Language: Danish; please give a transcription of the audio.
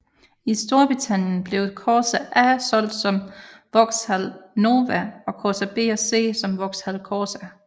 I Storbritannien blev Corsa A solgt som Vauxhall Nova og Corsa B og C som Vauxhall Corsa